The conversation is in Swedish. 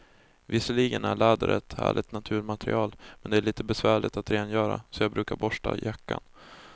Visserligen är läder ett härligt naturmaterial, men det är lite besvärligt att rengöra, så jag brukar borsta jackan.